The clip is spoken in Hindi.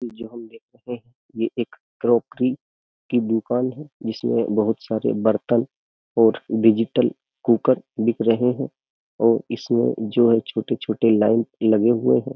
जो हम ये एक क्रॉकरी की दुकान है जिसमें बहुत सारे बर्तन और डिजिटल कुकर बिक रहे हैं और इसमें जो है छोटे-छोटे लाइन लगे हुए हैं।